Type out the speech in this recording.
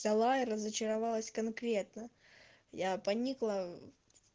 взяла и разочаровалась конкретно я поникла